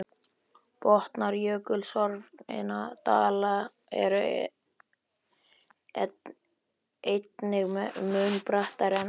Botnar jökulsorfinna dala eru einnig mun brattari en árdala.